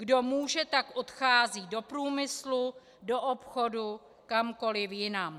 Kdo může, tak odchází do průmyslu, do obchodu, kamkoliv jinam.